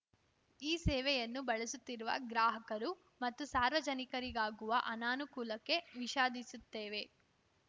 ಈ ಸೇವೆಯನ್ನು ಬಳಸುತ್ತಿರುವ ಗ್ರಾಹಕರು ಮತ್ತು ಸಾರ್ವಜನಿಕರಿಗಾಗುವ ಅನಾನುಕೂಲಕ್ಕೆ ವಿಷಾಧಿಸುತ್ತೇವೆ